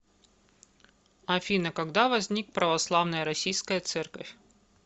афина когда возник православная российская церковь